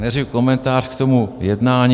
Nejdřív komentář k tomu jednání.